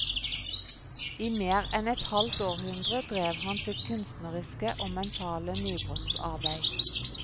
I mer enn et halvt århundre drev han sitt kunstneriske og mentale nybrottsarbeid.